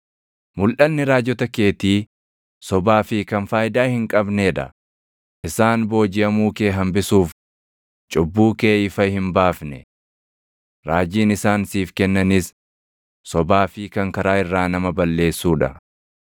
Mulʼanni raajota keetii sobaa fi kan faayidaa hin qabnee dha; isaan boojiʼamuu kee hambisuuf cubbuu kee ifa hin baafne. Raajiin isaan siif kennanis sobaa fi kan karaa irraa nama balleessuu dha.